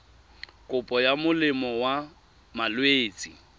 kopo ya molemo wa malwetse